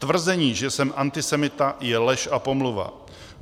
Tvrzení, že jsem antisemita, je lež a pomluva.